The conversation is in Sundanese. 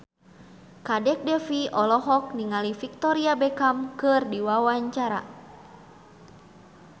Kadek Devi olohok ningali Victoria Beckham keur diwawancara